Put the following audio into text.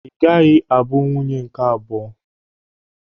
Ị gaghị abụ nwunye nke abụọ!